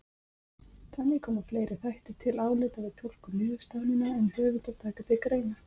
Þannig koma fleiri þættir til álita við túlkun niðurstaðnanna en höfundar taka til greina.